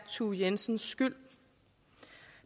thue jensens skyld